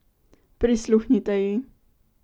Prisluhnite ji!